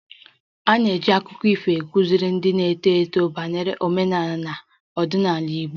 A na-eji akụkọ ifo akụziri ndị na-eto eto banyere omenala na ọdịnala Igbo